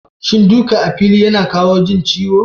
Shin duka a fili yana kawo jin ciwo?